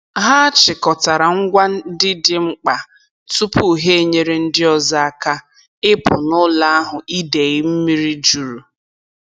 Ha chịkọtara ngwa ndị dị mkpa tupu ha enyere ndị ọzọ aka ịpụ n'ụlọ ahụ idei mmiri juru.